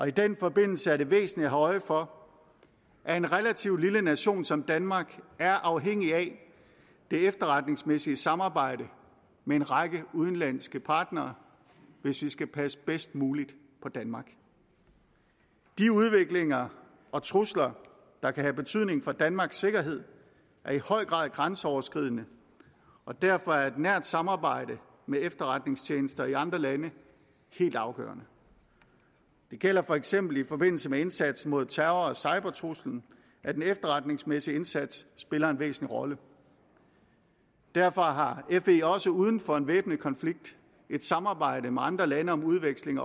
i den forbindelse er det væsentligt at have øje for at en relativt lille nation som danmark er afhængig af det efterretningsmæssige samarbejde med en række udenlandske partnere hvis vi skal passe bedst muligt på danmark de udviklinger og trusler der kan have betydning for danmarks sikkerhed er i høj grad grænseoverskridende og derfor er et nært samarbejde med efterretningstjenester i andre lande helt afgørende det gælder for eksempel i forbindelse med indsatsen mod terror og cybertruslen at den efterretningsmæssige indsats spiller en væsentlig rolle derfor har fe også uden for en væbnet konflikt et samarbejde med andre lande om udveksling